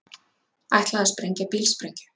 Ætlaði að sprengja bílsprengju